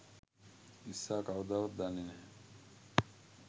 ඉස්සා කවදාවත් දන්නෙ නෑ